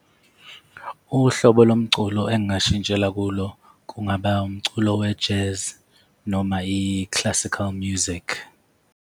Uhlobo lomculo engingashintshela kulo kungaba wumculo we-Jazz noma i-Classical Music.